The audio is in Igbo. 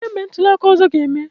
Olee mgbe ntuli aka ọzọ ga-eme?